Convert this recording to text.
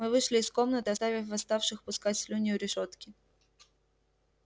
мы вышли из комнаты оставив восставших пускать слюни у решётки